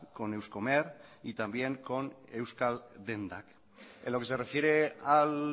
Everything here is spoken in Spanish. con euskomer y también con euskal dendak en lo que se refiere al